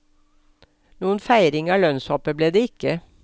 Noen feiring av lønnshoppet ble det ikke.